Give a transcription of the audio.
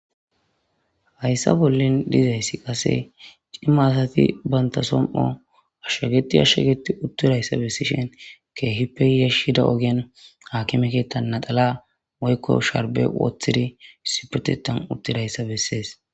Hayissa bolli dizayissi qasse cima assati banitta somipho ashageti ashageti utidayissa besishin kehipe yashizayisa akime kethani issipetethani utidayissa bessesi